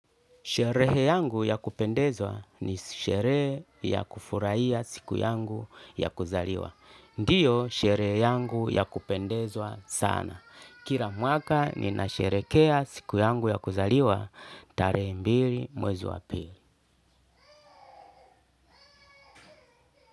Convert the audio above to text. Sherehe yangu ya kupendeza ni sherehe ya kufurahiya siku yangu ya kuzaliwa. Ndiyo sherehe yangu ya kupendezwa sana. Kila mwaka nina sherekea siku yangu ya kuzaliwa. Tarehe mbili mwezi wapili.